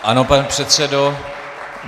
Ano, pane předsedo.